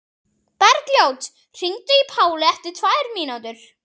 Bergljót, hringdu í Pálu eftir tvær mínútur.